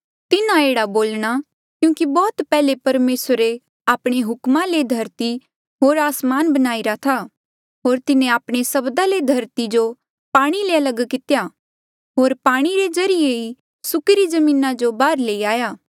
तिन्हा एह्ड़ा बोल्णा क्यूंकि बौह्त पैहले परमेसरे आपणे हुकमा ले धरती होर आसमान बणाईरा था होर तिन्हें आपणे सब्दा ले धरती जो पाणी ले लग कितेया होर पाणी रे ज्रीए ही सुकिरी जमीना जो बाहर लेई आया